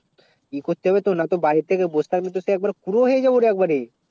ই করতে হবে না তো বারী তে বস থাকলে সে একবার কুরো হয়ে যাবো রে